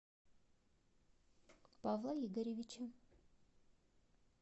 павла игоревича